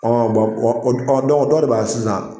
dɔ de b'a ye sisan